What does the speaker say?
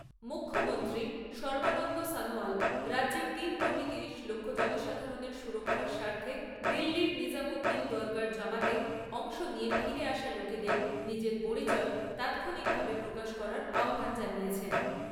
মুখ্যমন্ত্রী সর্বানন্দ সনোয়াল রাজ্যের তিন কোটি তিরিশ লক্ষ জনসাধারণের সুরক্ষার স্বার্থে দিল্লীর নিজামউদ্দিন দরগার জামাতে অংশ নিয়ে ফিরে আসা লোকেদের নিজের পরিচয় তাৎক্ষণিকভাবে প্রকাশ করার আহ্বান জানিয়েছেন।